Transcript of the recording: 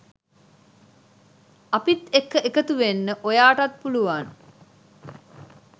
අපිත් එක්ක එකතුවෙන්න ඔයාටත් පුළුවන්